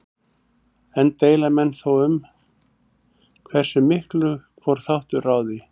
Enn deila menn þó um hversu miklu hvor þáttur ráði.